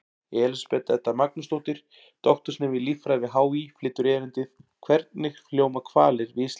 Elísabet Edda Magnúsdóttir, doktorsnemi í líffræði við HÍ, flytur erindið: Hvernig hljóma hvalir við Ísland?